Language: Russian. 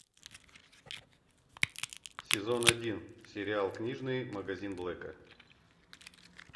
сезон один сериал книжный магазин блэка